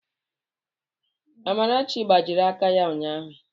Amarachi gbajiri aka ya ụnyahụ.